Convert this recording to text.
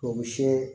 O bɛ se